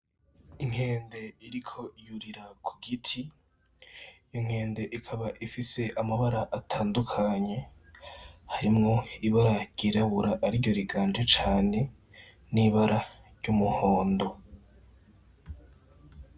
Inkende iriko yurira ku giti, iyo nkende ikaba ifise amabara atandukanye, harimwo ibara ryirabura, ariryo riganje cane n'ibara ry'umuhondo.